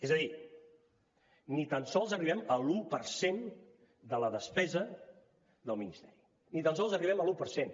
és a dir ni tan sols arribem a l’un per cent de la despesa del ministeri ni tan sols arribem a l’un per cent